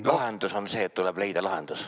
– lahendus on see, et tuleb leida lahendus.